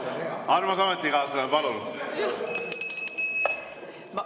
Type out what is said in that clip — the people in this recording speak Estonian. Armas ametikaaslane, palun!